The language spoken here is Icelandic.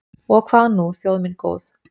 OG HVAÐ nú, þjóð mín góð?